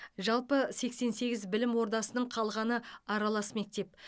жалпы сексен сегіз білім ордасының қалғаны аралас мектеп